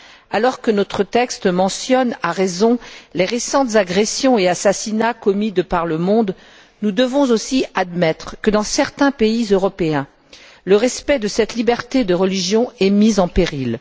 Alors que notre texte mentionne, à raison, les récents agressions et assassinats commis de par le monde, nous devons aussi admettre que, dans certains pays européens, le respect de cette liberté de religion est mis en péril.